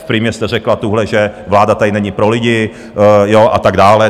Na Primě jste řekla tuhle, že vláda tady není pro lidi a tak dále.